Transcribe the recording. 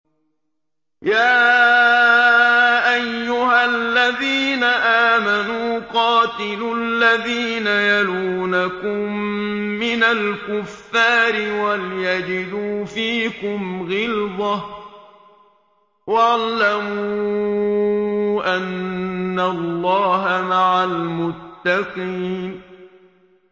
يَا أَيُّهَا الَّذِينَ آمَنُوا قَاتِلُوا الَّذِينَ يَلُونَكُم مِّنَ الْكُفَّارِ وَلْيَجِدُوا فِيكُمْ غِلْظَةً ۚ وَاعْلَمُوا أَنَّ اللَّهَ مَعَ الْمُتَّقِينَ